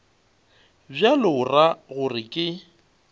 bjalo o ra gore ke